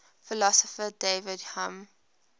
philosopher david hume